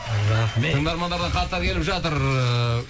рахмет тыңдармандардан хаттар келіп жатыр ыыы